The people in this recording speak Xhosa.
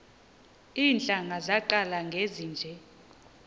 iintlanga zaqala ngezinje